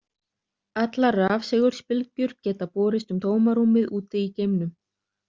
Allar rafsegulbylgjur geta borist um tómarúmið úti í geimnum.